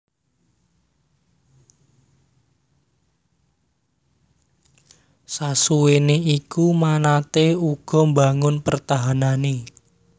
Sasuwéné iku manatee uga mbangun pertahanané